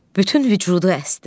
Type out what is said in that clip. Bütün vücudu əsdi.